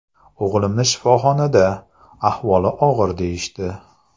O‘g‘limni shifoxonada, ahvoli og‘ir deyishdi.